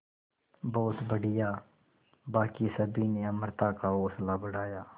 बहुत बढ़िया बाकी सभी ने अमृता का हौसला बढ़ाया